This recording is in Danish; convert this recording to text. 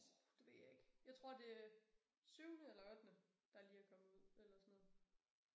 Åh det ved jeg ikke jeg tror det er syvende eller ottende der lige er kommet ud eller sådan noget